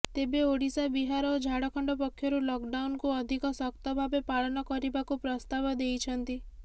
ତେବେ ଓଡ଼ିଶା ବିହାର ଓ ଝାରଖଣ୍ଡ ପକ୍ଷରୁ ଲକଡାଉନକୁ ଅଧିକ ଶକ୍ତ ଭାବେ ପାଳନ କରିବାକୁ ପ୍ରସ୍ତାବ ଦେଇଛନ୍ତି